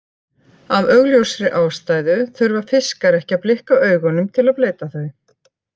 Af augljósri ástæðu þurfa fiskar ekki að blikka augunum til að bleyta þau.